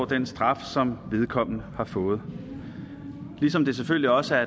den straf som vedkommende har fået ligesom det selvfølgelig også er